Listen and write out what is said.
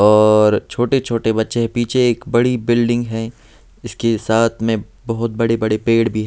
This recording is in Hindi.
और छोटे छोटे बच्चे पीछे एक बड़ी बिल्डिंग हैं उसके साथ में बहुत बड़े बड़े पेड़ भी--